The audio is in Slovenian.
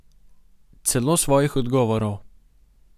Celo svojih odgovorov.